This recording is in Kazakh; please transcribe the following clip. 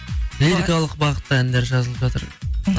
лирикалық бағытта әндер жазылып жатыр мхм